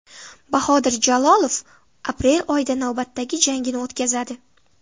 Bahodir Jalolov aprel oyida navbatdagi jangini o‘tkazadi.